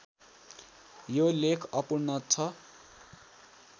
यो लेख अपूर्ण छ